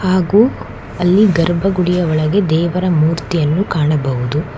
ಹಾಗು ಅಲ್ಲಿ ಧರ್ಮಗುಡಿಯೊಳಗೆ ದೇವರ ಮೂರ್ತಿಯನ್ನು ಕಾಣಬಹುದು.